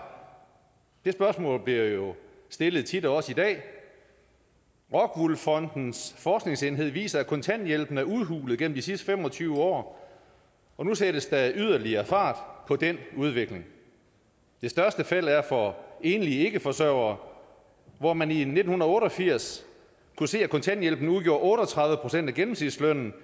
det spørgsmål bliver jo stillet tit og også i dag rockwool fondens forskningsenhed viser at kontanthjælpen er udhulet gennem de sidste fem og tyve år og nu sættes der yderligere fart på den udvikling det største felt er for enlige ikkeforsørgere hvor man i nitten otte og firs kunne se at kontanthjælpen udgjorde otte og tredive procent af gennemsnitslønnen